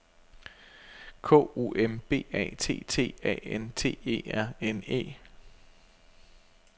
K O M B A T T A N T E R N E